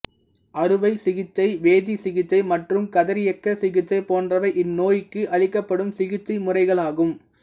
அறுவை சிகிச்சை வேதிச்சிகிச்சை மற்றும் கதிரியக்க சிகிச்சை போன்றவை இந்நோய்க்கு அளிக்கப்படும் சிகிச்சை முறைகளாகும்